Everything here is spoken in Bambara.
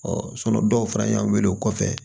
dɔw fana y'an wele o kɔfɛ